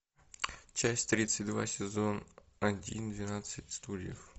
часть тридцать два сезон один двенадцать стульев